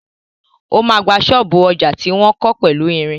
O ma gba ṣọ́ọ̀bú ọjà tí wọ́n kọ́ pẹ̀lú ìrìn.